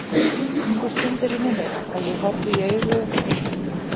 Sú stund er runnin upp að ég horfist í augu við sjálfan mig að lokum.